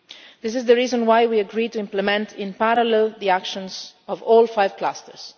This is the reason why we agreed to implement in parallel the actions of all five clusters